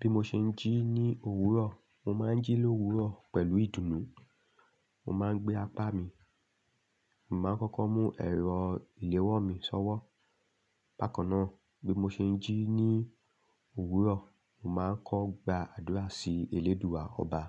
Bí mo ṣe ń jí ní òwúrọ̀, mo máa ń jí lówurọ̀ pẹ̀lú ìdùnnú. Mo máa ń gbé apá mi, mo máa ń kọ́kọ́ mú ẹ̀rọ ìléwọ́ mi sọ́wọ́. Bákan náà, bí mo ṣe ń jí ní òwúrọ̀, mo máa ń kọ́ gba àdúrà sí Eléèdúà Ọba